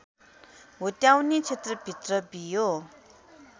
हुत्याउने क्षेत्रभित्र बियो